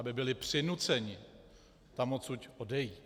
Aby byli přinuceni tam odsud odejít.